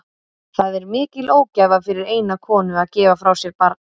Það er mikil ógæfa fyrir eina konu að gefa frá sér barn.